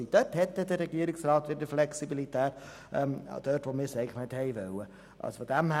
Diesbezüglich verfügt der Regierungsrat wieder über Flexibilität, nämlich dort, wo wir es eigentlich nicht gewollt haben.